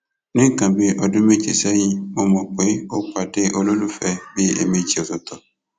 ní nǹkan bíi ọdún méje sẹyìn mo mọ pé ó pàdé olólùfẹ bíi ẹẹmejì ọtọọtọ